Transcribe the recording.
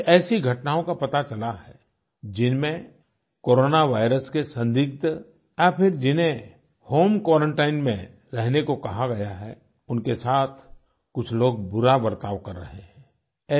मुझे कुछ ऐसी घटनाओं का पता चला है जिनमें कोरोना वायरस के संदिग्ध या फिर जिन्हें होम क्वारंटाइन में रहने को कहा गया है उनके साथ कुछ लोग बुरा बर्ताव कर रहे हैं